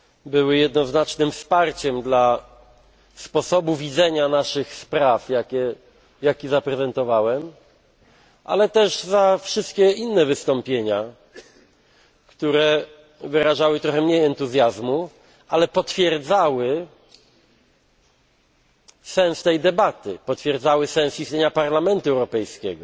były jednoznacznym wsparciem dla sposobu widzenia naszych spraw, jakie zaprezentowałem, ale też za wszystkie inne wystąpienia, które wyrażały trochę mniej entuzjazmu, ale potwierdzały sens tej debaty, potwierdzały sens istnienia Parlamentu Europejskiego,